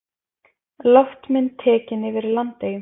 Loftmynd tekin yfir Landeyjum.